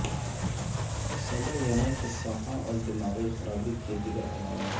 صباینا کے سانحہ اور دماغی خرابی کے دیگر عوامل